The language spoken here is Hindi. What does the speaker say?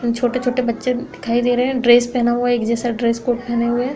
न छोटे-छोटे बच्चे दिखाई दे रहे हैं ड्रेस पेहना हुआ एक जैसा ड्रेस कोड पेहने हुए हैं।